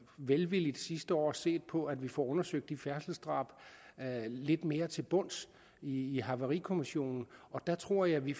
velvilligt sidste år set på at vi får undersøgt de færdselsdrab lidt mere til bunds i i havarikommissionen og der tror jeg at vi